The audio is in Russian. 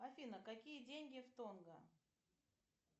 афина какие деньги в тонго